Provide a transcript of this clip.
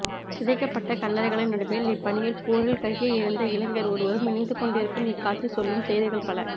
சிதைக்கப்பட்ட கல்லறைகளின் நடுவில் இப் பணியில் போரில் கையை இழந்த இளைஞர் ஒருவரும் இணைந்துகொண்டிருக்கும் இக்காட்சி சொல்லும் செய்திகள் பல